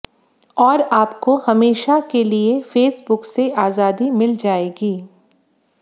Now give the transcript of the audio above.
और आपको हमेशा के लिए फेसबुक से आजादी मिल जाएगी